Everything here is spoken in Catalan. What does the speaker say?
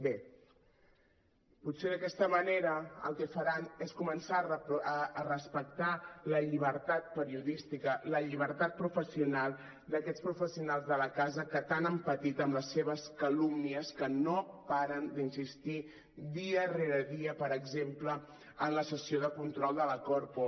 bé potser d’aquesta manera el que faran és començar a respectar la llibertat periodística la llibertat professional d’aquests professionals de la casa que tant han patit amb les seves calúmnies que no paren d’insistir dia rere dia per exemple en la sessió de control de la corpo